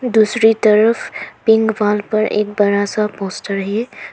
दूसरी तरफ pink wall पर एक बड़ा सा पोस्टर है।